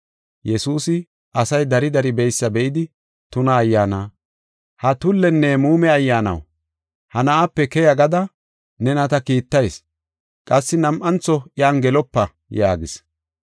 Yesuusi asay dari dari beysa be7idi, tuna ayyaana, “Ha tullenne muume ayyaanaw, ha na7aape keya gada nena ta kiittayis; qassi nam7antho iyan gelopa” yaagis.